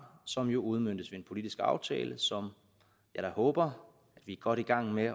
som jo udmøntes ved en politisk aftale som jeg da håber at vi er godt i gang med